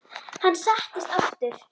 Hann settist aftur.